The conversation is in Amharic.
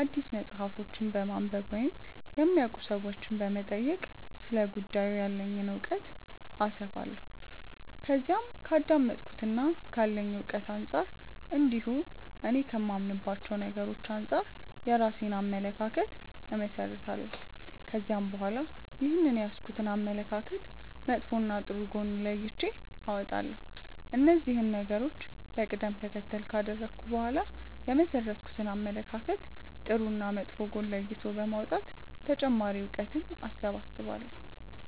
አዲስ መጽሐፎችን በማንበብ ወይም የሚያውቁ ሰዎችንም በመጠየቅ ስለ ጉዳዩ ያለኝን እውቀት አሰፋለሁ። ከዛም ከአዳመጥኩትና ካለኝ እውቀት አንጻር እንዲሁም እኔ ከማምንባቸው ነገሮች አንጻር የራሴን አመለካከት እመሠረታለሁ። ከዛም በኋላ ይህንን የያዝኩትን አመለካከት መጥፎና ጥሩ ጎን ለይቼ አወጣለሁ። እነዚህን ነገሮች በቀደም ተከተል ካደረኩ በኋላ የመሠረትኩትን አመለካከት ጥሩና መጥፎ ጎን ለይቶ በማውጣት ተጨማሪ እውቀትን እሰበስባለሁ።